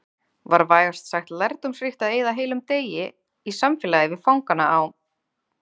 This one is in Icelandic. Var vægast sagt lærdómsríkt að eyða heilum degi í samfélagi við fangana á